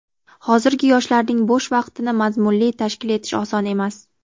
Hozirgi yoshlarning bo‘sh vaqtini mazmunli tashkil etish oson emas.